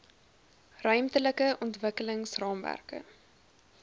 ruimtelike ontwikkelings raamwerke